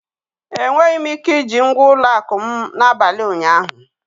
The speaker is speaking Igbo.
Enweghị m ike iji ngwa ụlọ akụ m n'abalị ụnyaahụ.